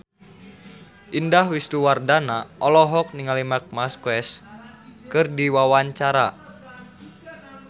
Indah Wisnuwardana olohok ningali Marc Marquez keur diwawancara